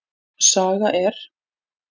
Saga er.